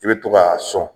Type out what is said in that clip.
I bɛ to k'a sɔn